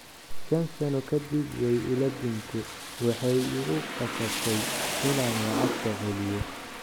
Shan sano kadib waay ila dhumte waxay ikukasabtey inan lacagta celiyo.